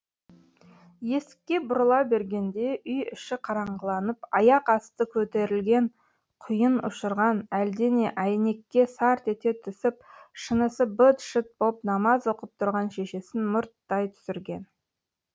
есікке бұрыла бергенде үй іші қараңғыланып аяқ асты көтерілген құйын ұшырған әлдене әйнекке сарт ете түсіп шынысы быт шыт боп намаз оқып тұрған шешесін мұрттай түсірген